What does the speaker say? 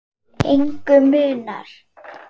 Engu munar.